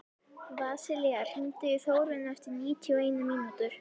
Vasilia, hringdu í Þórönnu eftir níutíu og eina mínútur.